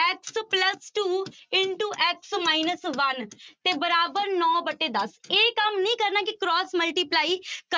x plus two into x minus one ਤੇ ਬਰਾਬਰ ਨੋਂ ਵਟੇ ਦਸ ਇਹ ਕੰਮ ਨੀ ਕਰਨਾ ਕਿ cross multiply